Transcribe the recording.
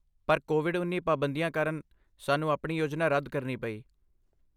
ਪਰ ਕੋਵਿਡ ਉੱਨੀ ਪਾਬੰਦੀਆਂ ਕਾਰਨ ਸਾਨੂੰ ਆਪਣੀ ਯੋਜਨਾ ਰੱਦ ਕਰਨੀ ਪਈ